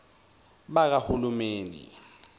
bakahulumeni